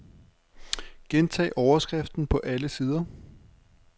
Gentag overskriften på alle sider.